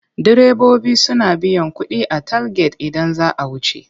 Direbobi suna biyan kuɗi a talget idan za a wuce.